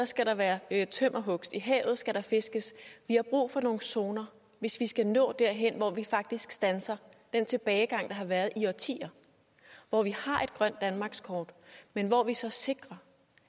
skal der være være tømmerhugst i havet skal der fiskes vi har brug for nogle zoner hvis vi skal nå derhen hvor vi faktisk standser den tilbagegang der har været i årtier hvor vi har et grønt danmarkskort men hvor vi så sikrer